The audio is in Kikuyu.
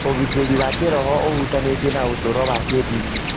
Ũgitĩri wa kĩĩroho ũhutanĩtie na ũtũũro wa kĩĩndini.